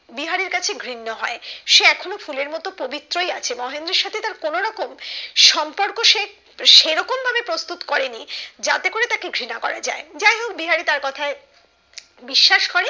বিহারীর কাছে ঘৃণ্য হয় সে এখনো ফুলের মত্ত পবিত্রই আছে মহেন্দ্রর সাথে তার কোনো রকম সম্পর্ক সে সেরকম ভাবে প্রস্তুত করেনি যাতে করে তাকে ঘৃণা করা যায় যাই হোক বিহারি তার কথায় বিশ্বাস করে